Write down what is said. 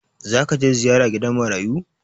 Za ka je ziyara gidan marayu?